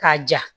K'a ja